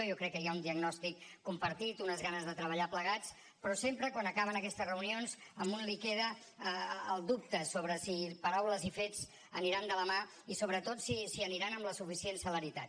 jo crec que hi ha un diagnòstic compartit unes ganes de treballar plegats però sempre quan acaben aquestes reunions a un li queda el dubte sobre si paraules i fets aniran de la mà i sobretot si aniran amb la suficient celeritat